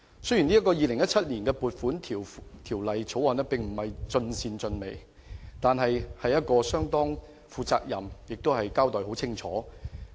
雖然這項《2017年撥款條例草案》並非盡善盡美，但也相當負責任及清晰。